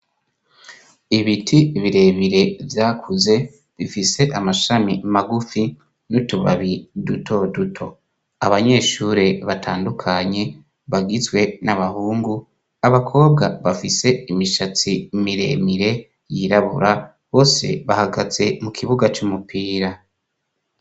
Ibiti birebire vyakuze bifise amashami magufi n'utubabi duto duto, abanyeshure batandukanye bagizwe n'abahungu, abakobwa bafise imishatsi miremire yirabura bose bahagaze mu kibuga c'umupira.